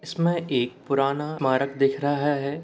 इसमें एक पुराना मार्ग दिख रहा है।